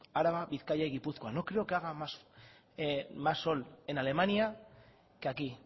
araba bizkaia y gipuzkoa no creo que haga más sol en alemania que aquí